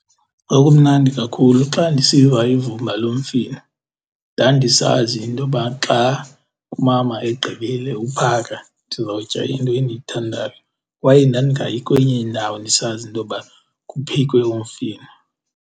Kwakumnandi kakhulu xa ndisiva ivumba lomfino, ndandisazi intoba xa umama egqibile uphaka ndizawutya into endiyithandayo kwaye ndandingayi kwenye indawo ndisazi intoba kuphekwe umfino.